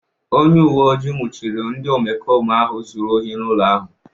Onye uwe ojii nwụchiri ndị omekome ahụ zuru ohi n'ụlọ ahu.